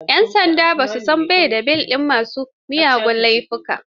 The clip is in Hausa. yan sanda ba sa ba da belin ma su miyagun laifuka.